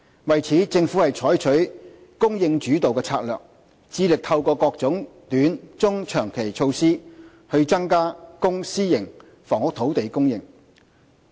為此，政府採取"供應主導"策略，致力透過各種短、中、長期措施增加公、私營房屋土地供應。